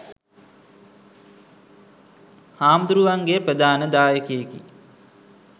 හාමුදුරුවන්ගේ ප්‍රධාන දායකයෙකි.